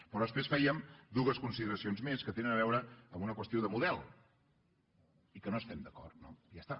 però després fèiem dues consideracions més que tenen a veure amb una qüestió de model i que no hi estem d’acord no i ja està